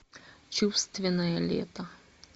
чувственное лето